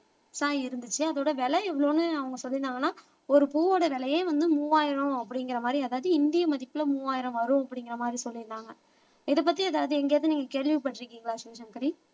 இருந்துச்சு அதோட விலை எவ்வளவுன்னு அவங்க சொல்லியிருந்தாங்கன்னா ஒரு பூவோட விலையே வந்து மூவாயிரம் அப்படிங்கிற மாதிரி அதாவது இந்திய மதிப்புல மூவாயிரம் வரும் அப்படிங்கிற மாதிரி சொல்லியிருந்தாங்க இதைப்பததி எதாவது எங்கேயாவது நீங்க கேள்விப்பட்டிருக்கீங்களா சிவசங்கரி